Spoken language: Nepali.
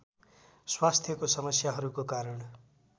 स्वास्थ्यको समस्याहरूको कारण